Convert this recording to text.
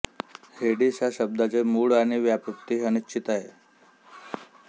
हेडीस या शब्दाचे मूळ आणि व्युत्पत्ती ही अनिश्चित आहे